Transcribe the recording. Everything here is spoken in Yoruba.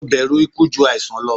Mo bẹru iku ju aisan lọ